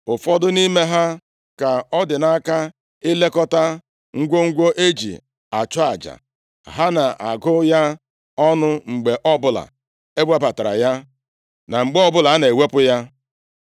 Ụfọdụ nʼime ha ka ọ dị nʼaka ilekọta ngwongwo e ji achụ aja. Ha na-agụ ya ọnụ mgbe ọbụla e webatara ya, na mgbe ọbụla a na-ewepụ ya.